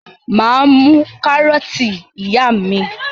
Mà á mú kárọ́tì ìyá mi.